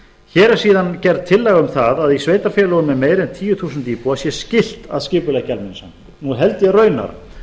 hér er síðan gerð tillaga um það að í sveitarfélögum með meira en tíu þúsund íbúa sé skylt að skipuleggja almenningssamgöngur nú held ég raunar